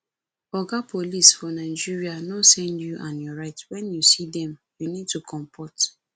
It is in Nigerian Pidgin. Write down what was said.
oga police for nigeria no send you and your right when you see dem you need to comport